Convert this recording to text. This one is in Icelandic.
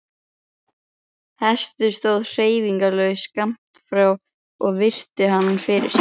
Hestur stóð hreyfingarlaus skammt frá og virti hann fyrir sér.